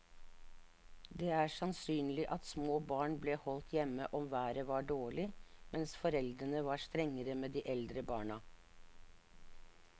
Det er sannsynlig at små barn ble holdt hjemme om været var dårlig, mens foreldrene var strengere med de eldre barna.